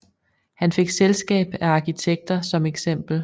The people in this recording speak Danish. Han fik selskab af arkitekter som eks